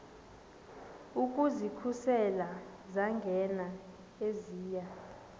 ukuzikhusela zangena eziya